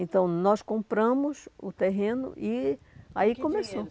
Então, nós compramos o terreno e aí começou. Com que dinheiro?